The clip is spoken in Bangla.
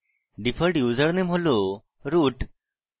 ডিফল্ট ইউজারনেম হল root